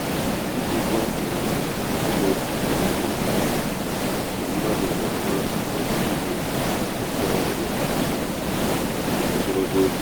ijikwa ọnwụnwa imefu um ego gunyere na mmadu ga ama nnukwu ihe echekwa ego maka echekwa ego maka ogologo oge